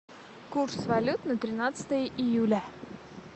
курс валют на тринадцатое июля